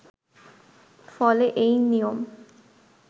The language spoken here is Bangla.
ফলে এই নিয়ম